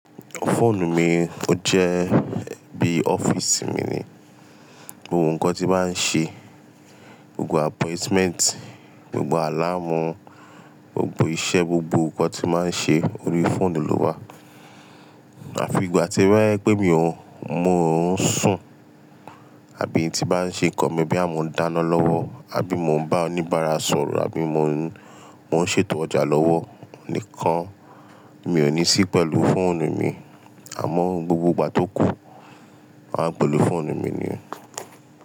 Fóònù mi ó jẹ́ bí ọ́fíìsì mi ni. Ohun nkan tí máa ń ṣe, gbogbo appointment, gbogbo àláàmú, gbogbo iṣẹ́, gbogbo nnkan tí máa ń ṣe orí fóònù ló wà. Àfi ìgbà tí ba pé mi ò mo ń sùn àbí tí bá ń ṣe nǹkan mi boyà mọ́ ń dáná lọ́wọ́ àbí mò ń bá oníbàárà sọ̀rọ̀ àbí mo mò ń ṣètò ọjà lọ́wọ́ nìkan mi ò ní sí pẹ̀lú fóònù mi. Àmọ́ o gbogbo ìgbà tó kù a ń pẹ̀lú fóònù mi ni.